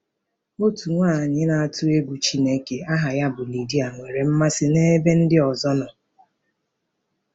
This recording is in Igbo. Otu nwaanyị na-atụ egwu Chineke aha ya bụ Lidia nwere mmasị n’ebe ndị ọzọ nọ.